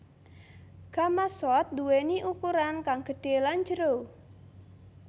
Gamasot nduwéni ukuran kang gedhé lan jero